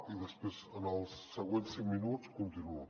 i després en els següents cinc minuts continuo